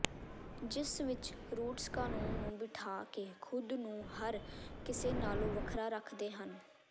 ਜਿਸ ਵਿਚ ਰੂਟਸ ਕਾਨੂੰਨ ਨੂੰ ਬਿਠਾ ਕੇ ਖੁਦ ਨੂੰ ਹਰ ਕਿਸੇ ਨਾਲੋਂ ਵੱਖਰਾ ਰੱਖਦੇ ਹਨ